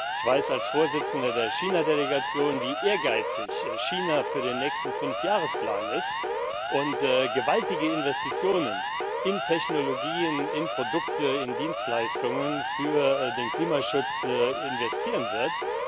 Ich weiß als Vorsitzender der China Delegation, wie ehrgeizig China für den nächsten Fünfjahresplan ist und welch gewaltige Investitionen in Technologien, in Produkte, in Dienstleistungen es für den Klimaschutz tätigen wird.